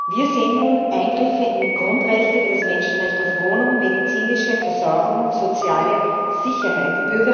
Wir sehen nun Eingriffe in Grundrechte, wie das Menschenrecht auf Wohnung, medizinische Versorgung, soziale Sicherheit.